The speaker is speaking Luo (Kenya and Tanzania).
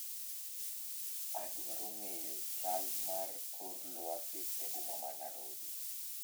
Adwaro ng;eyo chal mar kor lwasi eboma ma narobi